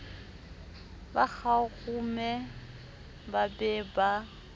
ba kgarume ba be ba